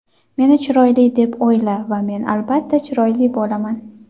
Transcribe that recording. meni chiroyli deb o‘yla va men albatta chiroyli bo‘laman.